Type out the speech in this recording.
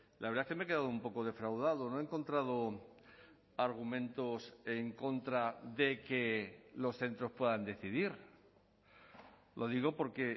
la verdad que me he quedado un poco defraudado no he encontrado argumentos en contra de que los centros puedan decidir lo digo porque